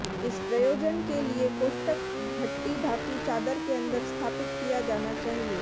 इस प्रयोजन के लिए कोष्ठक भट्ठी धातु चादर के अंदर स्थापित किया जाना चाहिए